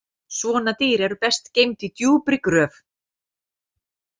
Svona dýr eru best geymd í djúpri gröf